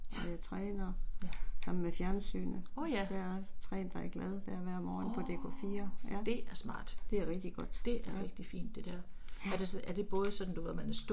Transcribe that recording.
Og jeg træner sammen med fjernsynet, der er træn dig glad der hver morgen på DK4 ja. Det er rigtig godt, ja, ja